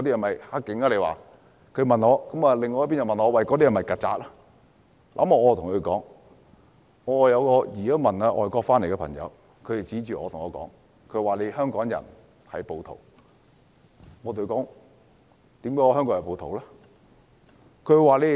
另一方又問我那些人是否"曱甴"，我對他們說，有移民外國回來的朋友指着我說香港人是暴徒，我問他為何這樣說？